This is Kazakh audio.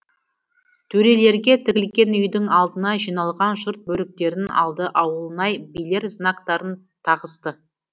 төрелерге тігілген үйдің алдына жиналған жұрт бөріктерін алды ауылнай билер знактарын тағысты